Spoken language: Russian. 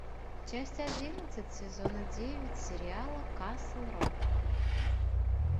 часть одиннадцать сезона девять сериала касл рок